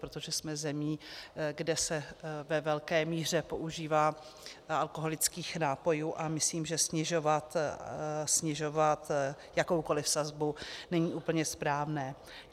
Protože jsme zemí, kde se ve velké míře požívá alkoholických nápojů, a myslím, že snižovat jakoukoliv sazbu není úplně správné.